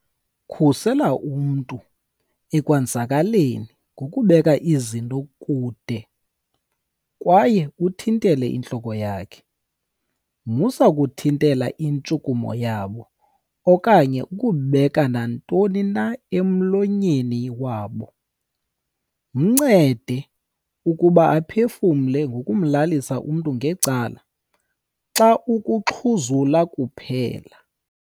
"Khusela umntu ekwenzakaleni ngokubeka izinto kude kwaye uthintele intloko yakhe. Musa uku thintela intshukumo yabo okanye ukubeka nantoni na emlonyeni wabo. Mncede ukuba aphefumle ngokumlalisa umntu ngecala xa ukuxhuzula kuphela."